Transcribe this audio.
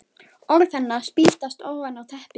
Orð hennar spýtast ofan í teppið.